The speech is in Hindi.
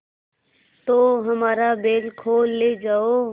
तो हमारा बैल खोल ले जाओ